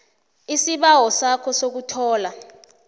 isibawo sakho sokuthola